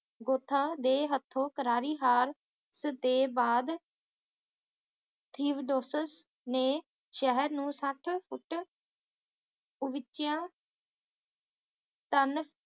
ਗੋਥਾਂ ਦੇ ਹੱਥੋਂ ਕਰਾਰੀ ਹਰ ਦੇ ਬਾਅਦ ਥੀਓਡੋਸਿਸ ਨੇ ਸ਼ਹਿਰ ਨੂੰ ਸੱਠ ਕੁੱਟ ਕੁਚਿਆਂ ਵਿੱਚ ਤਨ